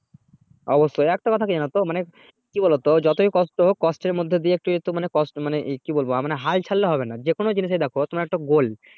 অবশ্যই একটা কথা যেন জানো তো মানে কি বলো তো যতই কষ্ট হোক কষ্টের মধ্যে দিয়ে একটু একটু মানে কি বলবো হাল ছাড়লে হবে না যেকোনো জিনিস এই দেখো তোমার একটা goal